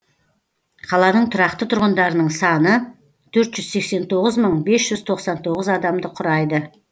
қаланың тұрақты тұрғындарының саны төрт жүз сексен тоғыз мың бес жүз тоқсан тоғыз адамды құрайды